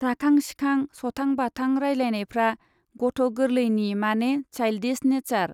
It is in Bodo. राखां सिखां, सथां बाथां रायज्लायनायफ्रा गथ गोर्लैनि माने साइल्डिस नेचार।